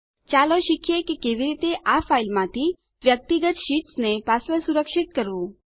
ચાલો શીખીએ કે કેવી રીતે આ ફાઈલ માંથી વ્યક્તિગત શીટ્સ ને પાસવર્ડ સુરક્ષિત કરવું